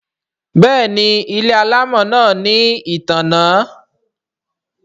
Béèni ile alamò náa ní ìtanná.